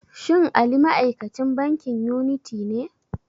Shin Ali ma'aikacin bankin yuniti ne?